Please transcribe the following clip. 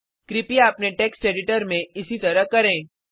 कृपया अपने text editor में इसी तरह करें